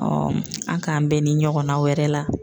a' k'an bɛn ni ɲɔgɔnna wɛrɛ la.